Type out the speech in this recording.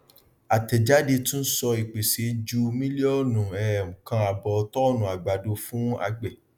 àtẹjáde tún sọ ìpèsè ju mílíọnù um kan àbọ tónnù àgbàdo fún àgbẹ